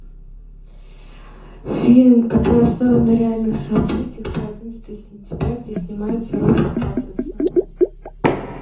фильм который основан на реальных событиях про одиннадцатое сентября где снимается роберт паттинсон